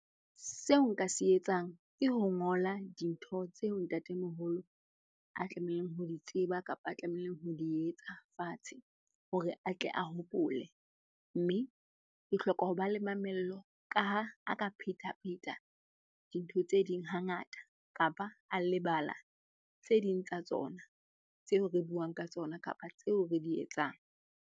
Seo nka se etsang ke ho ngola dintho tseo ntatemoholo a tlamehileng ho di tseba kapa a tlamehileng ho di etsa fatshe hore a tle a hopole. Mme ke hloka ho ba le mamello ka ha a ka phetapheta dintho tse ding hangata kapa a lebala tse ding tsa tsona tseo re buang ka tsona kapa tseo re di etsang.